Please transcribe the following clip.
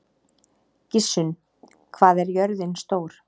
Gissunn, hvað er jörðin stór?